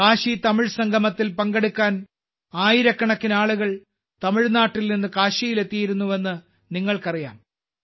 കാശിതമിഴ് സംഗമത്തിൽ പങ്കെടുക്കാൻ ആയിരക്കണക്കിന് ആളുകൾ തമിഴ്നാട്ടിൽ നിന്ന് കാശിയിൽ എത്തിയിരുന്നുവെന്ന് നിങ്ങൾക്കറിയാം